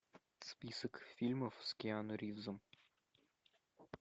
список фильмов с киану ривзом